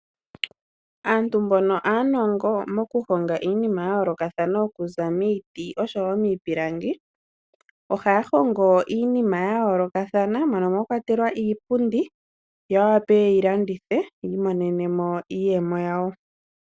Aantu mbono aanongo moku honga iinima yayolokathana okuza miiti osho woo miipilangi .Ohaya hongo iinima yayolokathana moka mwakwatelwa iipundi yo yawape yeyilandithe yi monene mo iiyemo yawo.